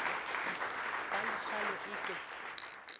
ba le kgaolo e ke